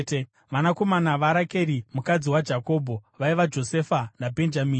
Vanakomana vaRakeri mukadzi waJakobho vaiva: Josefa naBhenjamini.